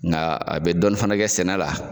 Nga a bɛ dɔɔni fana kɛ sɛnɛ la.